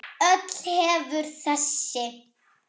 Öll hefur þessi